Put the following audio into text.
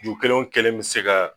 Ju kelen o kɛlen bɛ se ka